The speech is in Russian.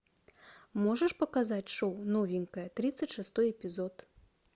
можешь показать шоу новенькая тридцать шестой эпизод